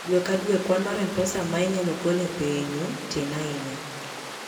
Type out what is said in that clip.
Dwe ka dwe, kwan mar pes M-Pesa ma inyalo gol e pinyu tin ahinya.